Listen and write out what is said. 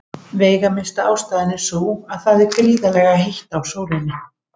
Veigamesta ástæðan er sú að það er gríðarlega heitt á sólinni.